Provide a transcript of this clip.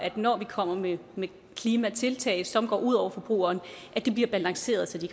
når vi kommer med klimatiltag som går ud over forbrugeren at det bliver balanceret så de